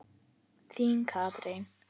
Þín, Katrín.